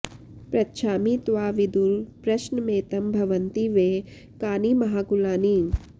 पृच्छामि त्वां विदुर प्रश्नमेतं भवन्ति वै कानि महाकुलानि